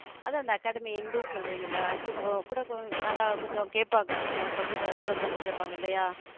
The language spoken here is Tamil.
அதான் அந்த academy end சொல்றீங்கல்ல அடுத்து கூட கொஞ்ச~ கூட நல்லா கொஞ்சம் கேப்பாங்க நம்ம சொல்றதே observe பண்ணி கேட்பாங்க, இல்லையா.